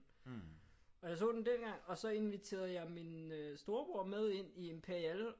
Og jeg så den dengang og så inviterede jeg min øh storebror med ind i Imperial